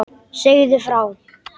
Segðu frá.